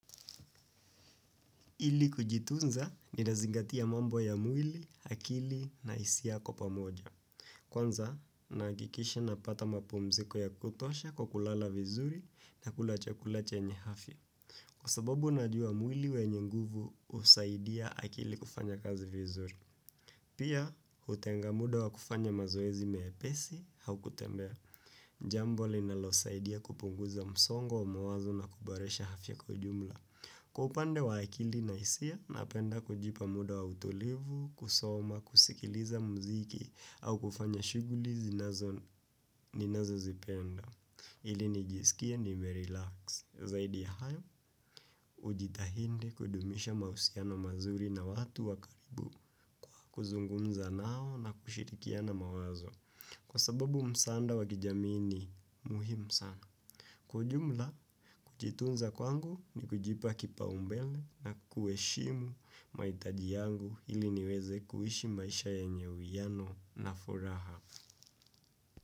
Ili kujitunza ninazingatia mambo ya mwili, akili na hisia kwa pamoja. Kwanza, nahakikisha napata mapumziko ya kutosha kwa kulala vizuri na kula chakula chenye afya. Kwa sababu najua mwili wenye nguvu husaidia akili kufanya kazi vizuri. Pia, hutenga muda wa kufanya mazoezi miepesi au kutembea. Jambo linalosaidia kupunguza msongo wa mawazo na kuboresha afya kwa ujumla. Kwa upande wa akili na hisia napenda kujipa muda wa utulivu, kusoma, kusikiliza mziki au kufanya shughuli ninazozipenda. Ili nijisikie nimerelax. Zaidi ya hayo, hujitahidi kudumisha mahusiano mazuri na watu wa karibu. Kuzungumza nao na kushirikiana mawazo. Kwa sababu msaada wa kijamii ni muhimu sana. Kwa ujumla, kujitunza kwangu ni kujipa kipaumbele na kuheshimu mahitaji yangu ili niweze kuishi maisha yenye uwiano na furaha.